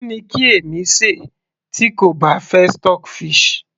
kí ni kí èmi ṣe tí kò bá fẹ́ stockfish